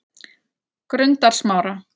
Grundarsmára